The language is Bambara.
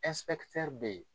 bɛ ye.